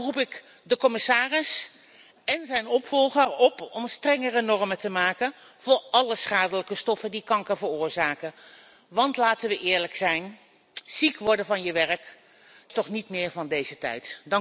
Daarom roep ik de commissaris en zijn opvolger op om strengere normen te maken voor alle schadelijke stoffen die kanker veroorzaken. Want, laten wij eerlijk zijn, ziek worden van je werk is toch niet meer van deze tijd!